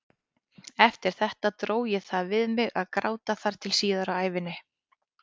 Eftir þetta dró ég það við mig að gráta þar til síðar á ævinni.